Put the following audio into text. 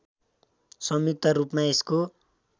संयुक्त रूपमा यसको